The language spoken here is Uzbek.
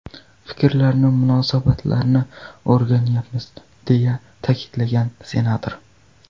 Fikrlarni, munosabatlarni o‘rganyapmiz”, deya ta’kidlagan senator.